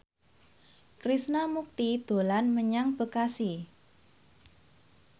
Krishna Mukti dolan menyang Bekasi